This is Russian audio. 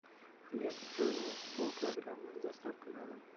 хлеб ржаной полкилограмма с доставкой на дом